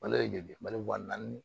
Malo ye joli malo wa naani